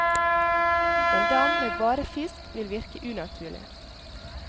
En dam med bare fisk vil virke unaturlig.